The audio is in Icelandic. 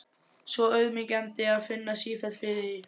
Svo auðmýkjandi að finna sífellt fyrir því.